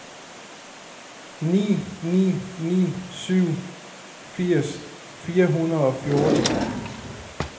ni ni ni syv firs fire hundrede og fjorten